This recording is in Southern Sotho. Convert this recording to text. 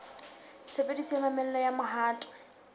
tshebediso ya mamello ya mohato